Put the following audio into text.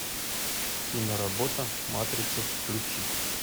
киноработа матрица включи